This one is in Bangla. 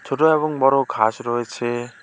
ছোট এবং বড় ঘাস রয়েছে।